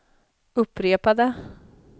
upprepade